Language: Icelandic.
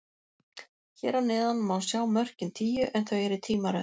Hér að neðan má sjá mörkin tíu, en þau eru í tímaröð.